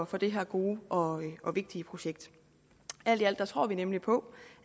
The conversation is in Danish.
for det her gode og og vigtige projekt alt i alt tror vi nemlig på